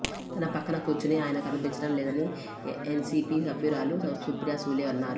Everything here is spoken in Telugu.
తన పక్కన కూర్చునే ఆయన కనిపించడం లేదని ఎన్సీపీ సభ్యురాలు సుప్రియా సూలే అన్నారు